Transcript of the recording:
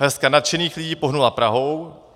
Hrstka nadšených lidí pohnula Prahou.